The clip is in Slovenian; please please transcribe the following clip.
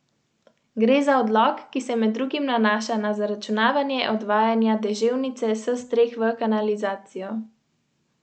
V grozi sem se držala vozička kot klop.